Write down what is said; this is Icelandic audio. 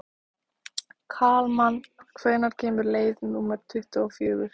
Kalman, hvenær kemur leið númer tuttugu og fjögur?